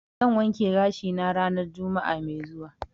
zan wanke gashi na ranan juma'a mai zuwa.